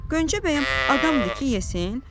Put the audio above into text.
Gönçə bəyəm adamdır ki, yesin?